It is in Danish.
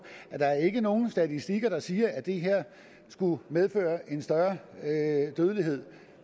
at der ikke er nogen statistikker der siger at det her skulle medføre en større dødelighed